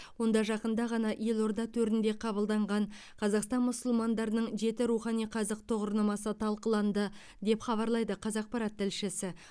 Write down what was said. онда жақында ғана елорда төрінде қабылданған қазақстан мұсылмандарының жеті рухани қазық тұғырнамасы талқыланды деп хабарлайды қазақпарат тілшісі